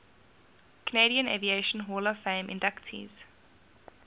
canadian aviation hall of fame inductees